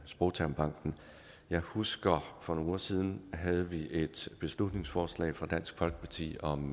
sprogtermbanken jeg husker at for nogle uger siden havde et beslutningsforslag fra dansk folkeparti om